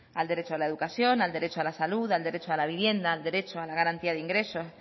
al derecho a la educación al derecho a la salud al derecho a la vivienda al derecho a la garantía de ingresos